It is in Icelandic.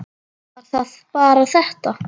Var það bara þetta?